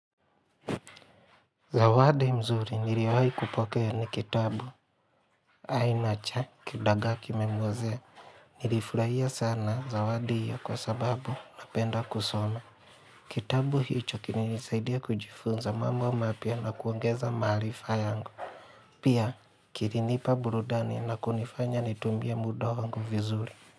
Zawadi mzuri niliwai kupokea ni kitabu aina cha kidagaa kimemwozea Nilifurahia sana zawadi hio kwa sababu napenda kusoma Kitabu hicho kili nisaidia kujifunza mamo wa mapya na kuongeza maarifa yangu Pia kili nipa burudani na kunifanya nitumbie muda wangu vizuri.